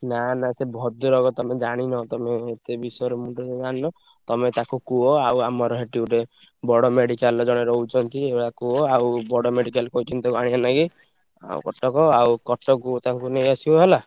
ନା ନା ସେ ଭଦ୍ରକ ତମେ ଜାଣିନ ତମେ ଏତେ ବିଷୟରେ ଜାଣିନ ତମେ ତାକୁ କୁହ ଆଉ ଆମର ସେଠି ଗୋଟେ ବଡ medical ରେ ଜଣେ ରହୁଛନ୍ତି। ଏଇଭଳିଆ କୁହ ଆଉ ବଡ medical କହିଛନ୍ତି ତାକୁ ଆଣିଆ ଲାଗି ଆଉ କଟକ ଆଉ କଟକକୁ ତାଙ୍କୁ ନେଇଆସିବ ହେଲା।